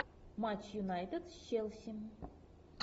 матч юнайтед с челси